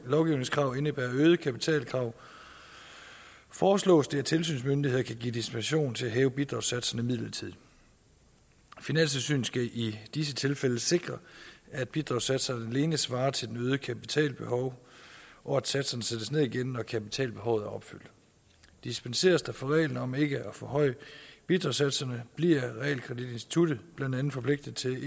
lovgivningskrav indebærer øgede kapitalkrav foreslås det at tilsynsmyndighederne kan give dispensation til at hæve bidragssatserne midlertidigt finanstilsynet skal i disse tilfælde sikre at bidragssatserne alene svarer til det øgede kapitalbehov og at satserne sættes ned igen når kapitalbehovet er opfyldt dispenseres der fra reglen om ikke at forhøje bidragssatserne bliver realkreditinstituttet blandt andet forpligtet til